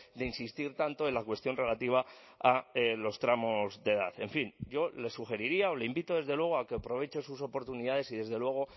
de insistir tanto en la cuestión relativa a los tramos de edad en fin yo le sugeriría o le invito desde luego a que aproveche sus oportunidades y desde luego